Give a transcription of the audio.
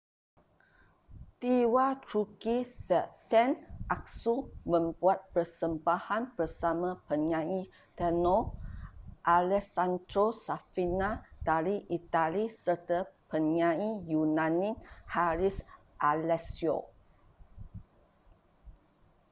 diva turki sezen aksu membuat persembahan bersama penyanyi tenor alessandro safina dari itali serta penyanyi yunani haris alexiou